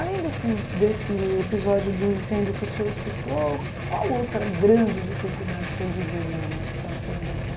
Além desses desse episódio do incêndio que o senhor citou, qual outra grande dificuldade o senhor viveu lá no Hospital do Servidor